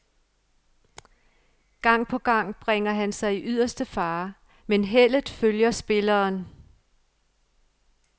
Gang på gang bringer han sig i yderste fare, men heldet følger spilleren.